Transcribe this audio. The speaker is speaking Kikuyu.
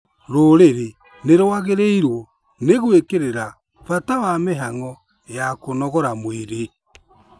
Rũrĩrĩ nĩ rwagĩrĩirwo nĩ gwĩkĩrĩra bata wa mĩhang'o ya kũnogora mwĩrĩ